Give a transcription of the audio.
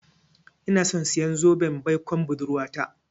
Inason siyan zoben baikon budurwata.